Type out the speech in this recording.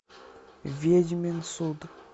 ведьмин суд